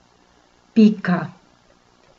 Pika.